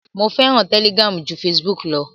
Mo fẹ́ràn Telegram ju Facebook lọ.